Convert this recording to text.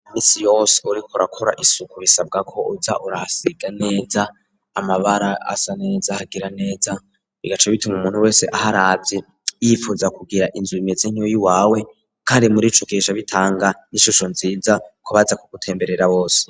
Minsi yose uriko urakora isuku bisabwa ko uza urasiga neza, amabara asa neza ahagira neza, bigaca bituma umuntu wese aharavye yifuza kugira inzu imeze nk'iyiwawe kandi muri ico gihe bitanga n'ishusho nziza kubaza kugutemberera bose.